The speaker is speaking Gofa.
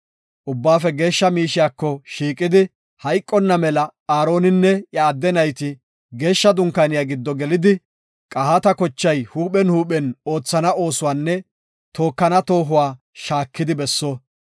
Ubbaafe Geeshsha miishiyako shiiqidi hayqonna mela Aaroninne iya adde nayti Geeshsha Dunkaaniya giddo gelidi, Qohaata kochay huuphen huuphen oothana oosuwanne tookana toohuwa shaakidi besso.